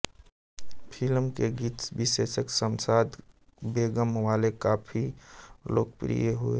film के गीत विशेषकर शमशाद बेगम वाले काफी लोकप्रिय हुए